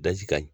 Daji ka ɲi